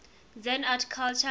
zen art and culture